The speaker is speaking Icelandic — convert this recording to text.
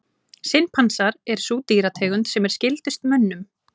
Simpansar er sú dýrategund sem er skyldust mönnum.